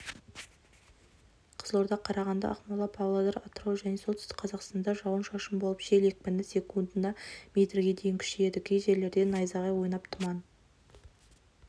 қызылорда қарағанды ақмола павлодар атырау және солтүстік қазақстанда жауын-шашын болып жел екпіні секундына метрге дейін күшейеді кей жерлерде назағай ойнап тұман